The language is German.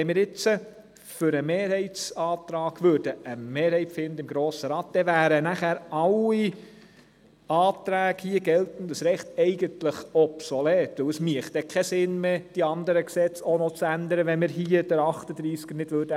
Sollten wir im Grossen Rat eine Mehrheit für den Mehrheitsantrag finden, wären eigentlich alle Anträge «geltendes Recht» obsolet, denn es wäre nicht sinnvoll, die anderen Gesetze zu ändern, ohne dass der Artikel 38a geändert wird.